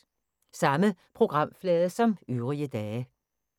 Samme programflade som øvrige dage